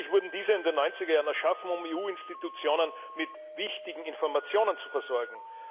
Schließlich wurden diese in den 90er Jahren erschaffen, um EU Institutionen mit wichtigen Informationen zu versorgen.